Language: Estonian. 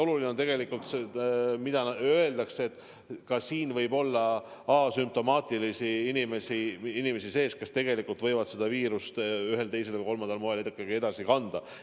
Oluline on see, et meie hulgas võib olla asümptomaatilisi inimesi, kas tegelikult võivad seda viirust ühel, teisel või kolmandal moel ikkagi edasi kanda.